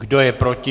Kdo je proti?